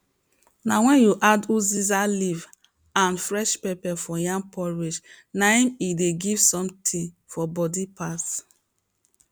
na wen you add uziza leaf and fresh pepper for yam porridge na im e dey give something for body pass